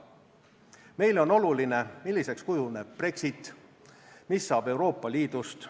Meile on oluline, milliseks kujuneb Brexit, mis saab Euroopa Liidust.